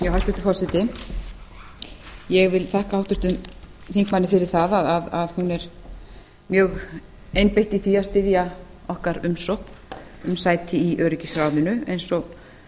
hæstvirtur forseti ég vil þakka háttvirtum þingmanni fyrir það að hún er mjög einbeitt í því að styðja okkar umsókn um sæti í öryggisráðinu eins og